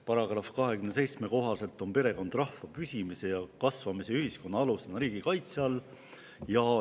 Paragrahvi 27 kohaselt on perekond rahva püsimise ja kasvamise ja ühiskonna alusena riigi kaitse all.